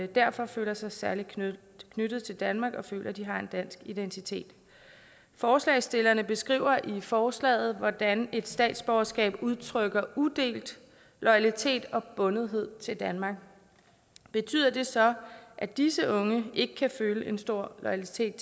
derfor føler sig særlig knyttet knyttet til danmark og føler at de har en dansk identitet forslagsstillerne beskriver i forslaget hvordan et statsborgerskab udtrykker udelt loyalitet og bundethed til danmark betyder det så at disse unge ikke kan føle en stor loyalitet